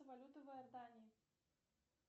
валюта в иордании